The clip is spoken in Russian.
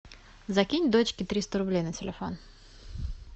закинь дочке триста рублей на телефон